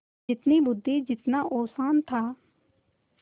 जितनी बुद्वि जितना औसान था